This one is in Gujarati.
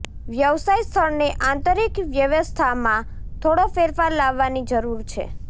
વ્યવસાય સ્થળની આંતરિક વ્યવસ્થામાં થોડો ફેરફાર લાવવાની જરૂર છે